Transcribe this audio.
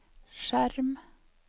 skjerm